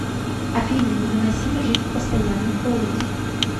афина невыносимо жить в постоянном холоде